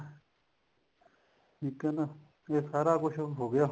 ਠੀਕ ਐ ਨਾ ਇਹ ਸਾਰਾ ਕੁੱਛ ਹੋ ਗਿਆ